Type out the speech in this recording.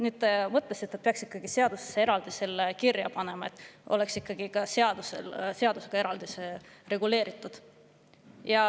Nüüd te mõtlesite, et peaks seadusesse ka selle eraldi kirja panema, et see oleks ikkagi seadusega reguleeritud.